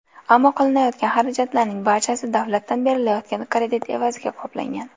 Ammo qilinayotgan xarajatlarning barchasi davlatdan berilayotgan kredit evaziga qoplangan.